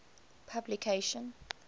publication